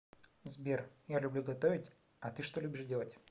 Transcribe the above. сбер я люблю готовить а ты что любишь делать